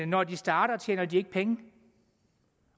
når de starter tjener de ikke penge